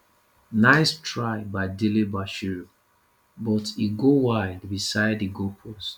nice try by delebashiru but e go wide beside di goalpost